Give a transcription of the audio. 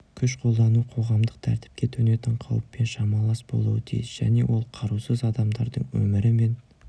күш қолдану қоғамдық тәртіпке төнетін қауіппен шамалас болуы тиіс және ол қарусыз адамдардың өмірі мен